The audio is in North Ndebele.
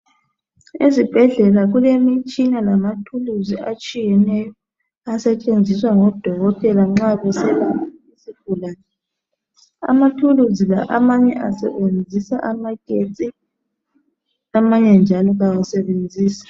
Ezibhedlela kulemitshina lamathuluzi atshiyeneyo asetshenziswa ngodokotela nxa beselapha isigulane. Amathuluzi la amanye asebenzisa amagetsi amanye njalo kasebenzisi.